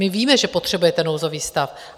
My víme, že potřebujete nouzový stav.